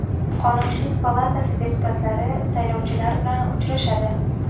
Qonunchilik palatasi deputatlari saylovchilar bilan uchrashadi.